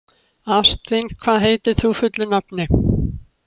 Ástvin, hvað heitir þú fullu nafni?